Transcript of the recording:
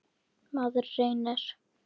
Maður reynir.